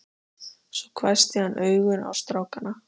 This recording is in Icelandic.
Svo hvessti hann augun á strákana.